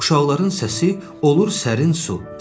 Uşaqların səsi olur sərin su.